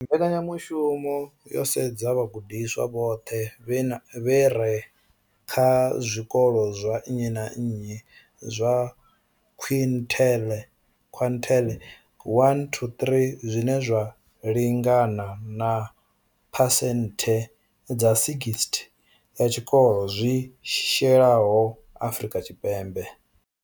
Mbekanya mushumo yo sedza vhagudiswa vhoṱhe vha re kha zwikolo zwa nnyi na nnyi zwa quintile 1-3, zwine zwa lingana na phesenthe dza 60 ya zwikolo zwi shayeho Afrika Tshipembe.